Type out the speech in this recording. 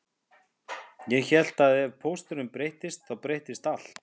Ég hélt að ef pósturinn breyttist þá breyttist allt